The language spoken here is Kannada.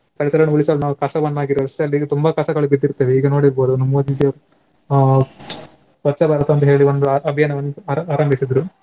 ಪರಿಸರವನ್ನು ಉಳಿಸಲು ನಾವು ಕಸವ ರಸ್ತೆಯಲ್ಲಿ ತುಂಬಾ ಕಸಗಳು ಬಿದ್ದಿರ್ತವೆ ಈಗ ನೋಡಿರ್ಬೋದು ನಮ್ಮ್ ಮೋದಿದು ಆ ಸ್ವಚ್ಛ ಭಾರತ ಅಂತ್ಹೇಳಿ ಒಂದು ಅ~ ಅಭಿಯಾನವನ್ನುಸ ಆ~ ಆರಂಭಿಸಿದ್ರು.